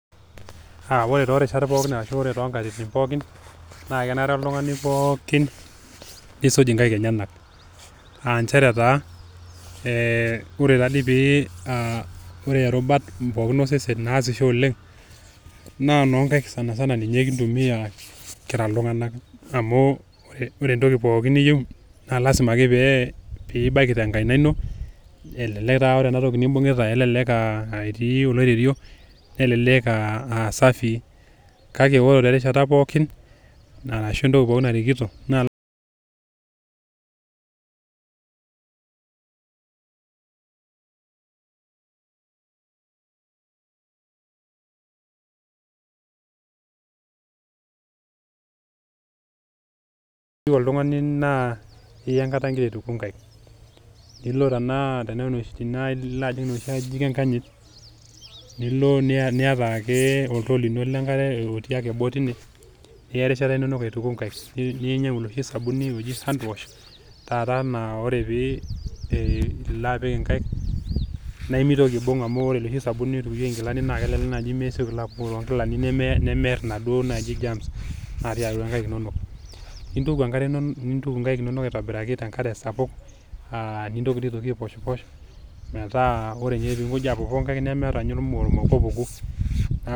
Ore torishat pookin ashu toonkatitin pookin naa kenare oltungani nisuj inkaik enyenak aa ore irubat pookin naaisho oleng naa noonkaik sanisana amu ore entoki pookin niyieu naa lasima peibaiki tenkaina ino , elelek aa ore enatoki nimbungita naa elelek etii oloirerio nelelek aa safi kake ore toorishat pookin naa ore entoki pookin narikito keyieu oltungani naa iya enkata ingira aituku inkaik